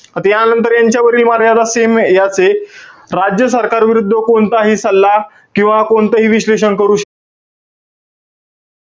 आता यानंतर यांच्यावरील मर्यादा same याचे. राज्य सरकारविरुद्ध कोणताही सल्ला किंवा कोणतंही विश्लेषण करू,